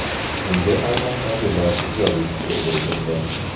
Bunga tarmoqdagilar ijobiy fikr bildirdi.